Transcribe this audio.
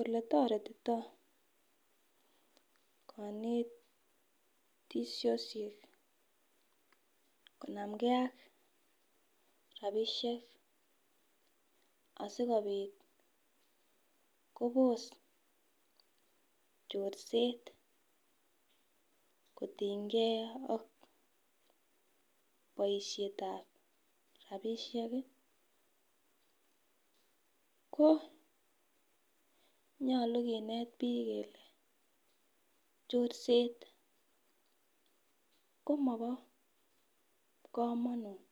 Oletoretito konetisoshek konamgee ak rabishek asikopit Kobos chorset kotinge ak boishetab rabishek kii ko nyolu kinet bik kole chorset komobo komonut